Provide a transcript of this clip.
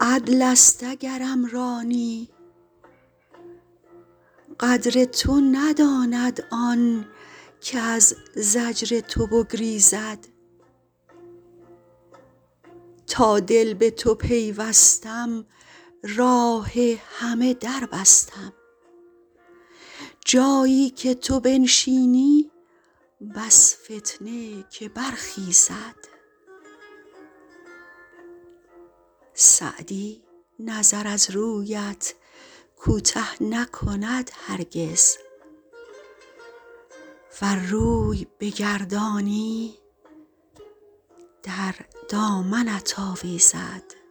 عدل است اگرم رانی قدر تو نداند آن کز زجر تو بگریزد تا دل به تو پیوستم راه همه در بستم جایی که تو بنشینی بس فتنه که برخیزد سعدی نظر از رویت کوته نکند هرگز ور روی بگردانی در دامنت آویزد